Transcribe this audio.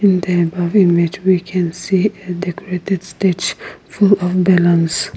in the above image we can see a decorated stage full of balloons.